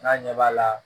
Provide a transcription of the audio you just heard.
N'a ɲɛ b'a la